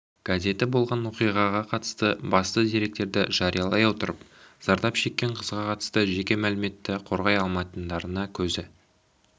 газеті болған оқиғаға қатысты басты деректерді жариялай отырып зардап шеккен қызға қатысты жеке мәліметті қорғай алмайтындарына көзі